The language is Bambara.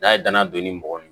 N'a ye dana don ni mɔgɔ